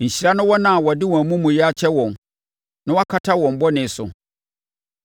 Nhyira ne wɔn a wɔde wɔn amumuyɛ akyɛ wɔn, na wɔakata wɔn bɔne so.